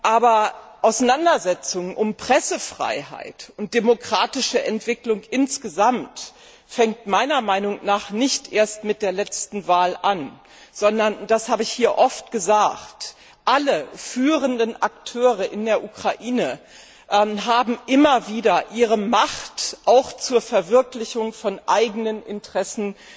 Aber die Auseinandersetzungen um die Pressefreiheit und die demokratische Entwicklung insgesamt fangen meiner Meinung nicht erst mit der letzten Wahl an, sondern das habe ich hier oft gesagt alle führenden Akteure in der Ukraine haben immer wieder ihre Macht auch zur Verwirklichung von eigenen Interessen